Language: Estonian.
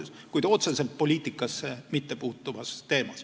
–, kuid otseselt poliitikasse mittepuutuval teemal.